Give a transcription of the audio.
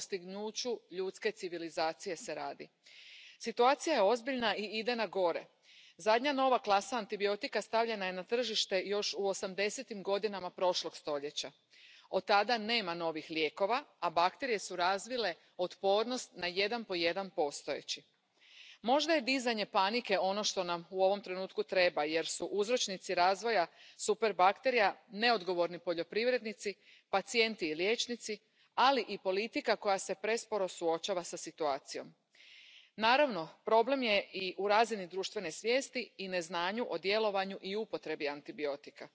Por lo tanto, necesitamos una actitud proactiva y clara por parte de la Comisión, que ponga en marcha este importante informe. ¿Investigación de nuevos antibióticos? Sí, pero no es lo único también de dispositivos médicos que mejoren la precisión en el diagnóstico y el tratamiento de estas infecciones. Pero especialmente necesitamos nuevos modelos de investigación que permitan y que garanticen el acceso a futuros nuevos antibióticos y dispositivos. Celebro que recoja la necesidad de una red pública de investigación para el desarrollo de estos dispositivos y antibióticos